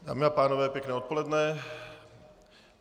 Dámy a pánové, pěkné odpoledne.